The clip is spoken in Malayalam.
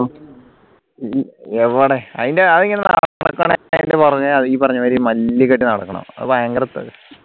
എവിടെ അയിന്റെ പുറകെ ഈ പറഞ്ഞ മാതിരി കെട്ടി നടക്കണം അത് ഭയങ്കര